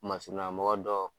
Masuruyana mɔgɔ dɔ